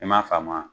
I m'a faamuna